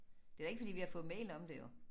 Det da ikke fordi vi har fået mail om det jo